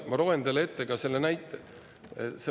Ma loen teile ette ka selle näite.